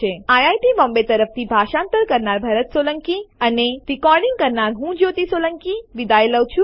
IIT Bombay તરફથી ભાષાંતર કરનાર હું ભરત સોલંકી વિદાય લઉં છું